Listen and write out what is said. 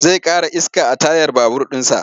Zai ƙara iska a tayar babur ɗinsa.